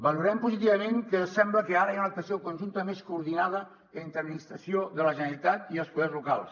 valorem positivament que sembla que ara hi ha una actuació conjunta més coordinada entre l’administració de la generalitat i els poders locals